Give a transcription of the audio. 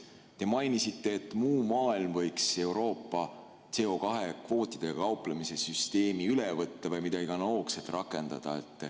Te mainisite, et muu maailm võiks Euroopa CO2 kvootidega kauplemise süsteemi üle võtta või midagi analoogset rakendada.